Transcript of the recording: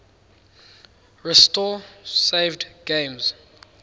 restore saved games